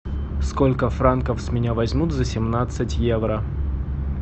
сколько франков с меня возьмут за семнадцать евро